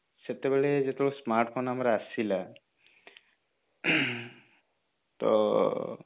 ତ ସେତେବେଳେ ଯେତେବେଳେ smartphone ଆମର ଆସିଲା ତ